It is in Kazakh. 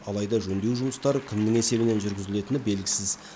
алайда жөндеу жұмыстары кімнің есебінен жүргізілетіні белгісіз